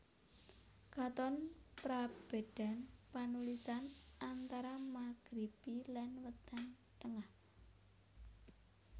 Katon prabédan panulisan antara Magribi lan Wétan Tengah